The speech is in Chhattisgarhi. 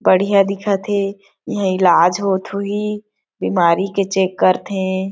बढ़या दिखत थे यहाँ इलाज होत होई बीमारी के चेक कर थे।